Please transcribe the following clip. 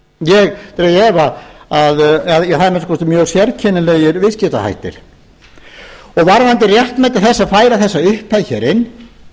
ég dreg í efa að eða það eru að minnsta kosti mjög sérkennilegir viðskiptahættir varðandi réttmæti þess að færa þessa upphæð hér inn